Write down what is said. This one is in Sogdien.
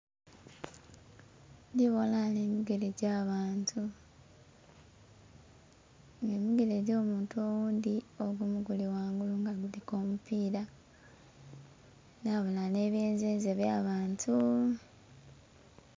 Ndhibonha ghanho emigele egy'abanto nga emigele egy'omuntu oghundhi ogumu guli ghangulu nga guliku omupila nhabonha nhe byenzenze eby'abantu.